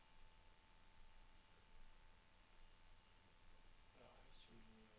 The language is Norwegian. padler